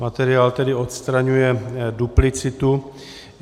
Materiál tedy odstraňuje duplicitu.